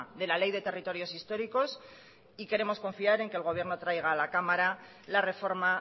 de la ley de territorios históricos y queremos confiar en que el gobierno traiga a la cámara la reforma